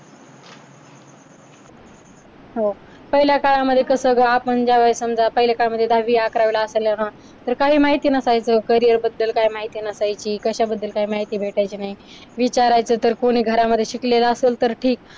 हो. पहिल्या काळामध्ये कसं ग आपण ज्यावेळेस काय म्हणजे दहावी अकरावीला असताना आह तर काही माहिती नसायचं. carrier बद्दल काही माहिती नसायची, कशा बद्दल काय माहिती भेटायची नाही, विचारायचं तर कोणी घरामध्ये शिकलेल असल तर ठीक.